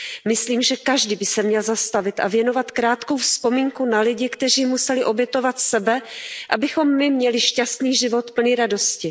Myslím, že každý by se měl zastavit a věnovat krátkou vzpomínku na lidi, kteří museli obětovat sebe, abychom my měli šťastný život plný radosti.